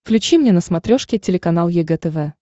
включи мне на смотрешке телеканал егэ тв